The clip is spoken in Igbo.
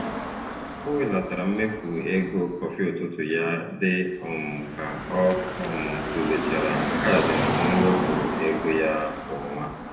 O belatara mmefu ego kọfị ụtụtụ ya dị um ka ọ um tụlechara kaadị mwepụ ego ya kwa ọnwa.